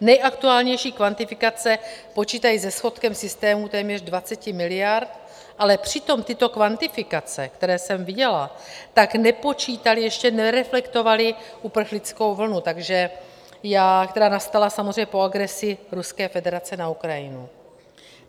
Nejaktuálnější kvantifikace počítají se schodkem systému téměř 20 miliard, ale přitom tyto kvantifikace, které jsem viděla, tak nepočítaly, ještě nereflektovaly uprchlickou vlnu, která nastala samozřejmě po agresi Ruské federace na Ukrajinu.